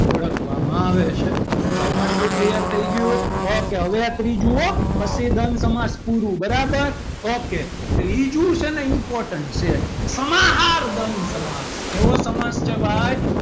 ઓળખવામાં આવે છે ચલો આટલું clear થઈ ગયું ok હવે આ ત્રીજું હો પછી દ્વંદ સમાસ પુરુ બરાબર ok ત્રીજું છે ને એ important છે સમાહાર દ્વંદ સમાસ કેવો સમાસ છે ભાઈ,